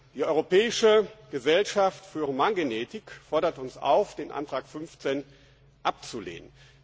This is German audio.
Die europäische Gesellschaft für Humangenetik fordert uns auf, den Änderungsantrag 15 abzulehnen.